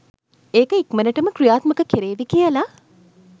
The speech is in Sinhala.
ඒක ඉක්මනටම ක්‍රියාත්මක කෙරේවි කියල